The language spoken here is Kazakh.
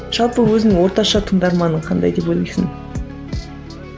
жалпы өзің орташа тыңдарманың қандай деп ойлайсың